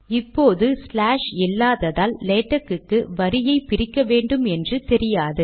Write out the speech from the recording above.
இப்போது ஸ்லாஷ் இல்லாததால் லேட்க் க்கு வரியை பிரிக்க வேண்டும் என்று தெரியாது